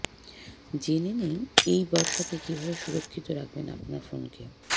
জেনে নেই এই বর্ষাতে কিভাবে সুরক্ষিত রাখবেন আপনার ফোনকে